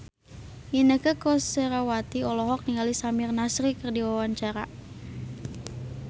Inneke Koesherawati olohok ningali Samir Nasri keur diwawancara